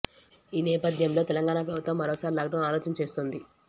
ఈ నేపథ్యంలో తెలంగాణ ప్రభుత్వం మరోసారి లాక్ డౌన్ ఆలోచన చేస్తోంది